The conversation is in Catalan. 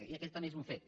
i aquest també és un fet